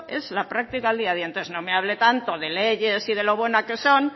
es la práctica del día a día entonces no me hable tanto de leyes y de la buena que son